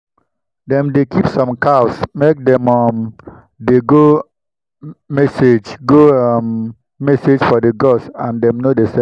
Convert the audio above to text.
dem dey keep some cows make dem um dey go um message go um message for the gods and dem no dey sell am